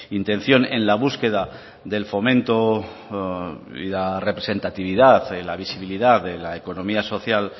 intención en la búsqueda del fomento y la representatividad en la visibilidad de la economía social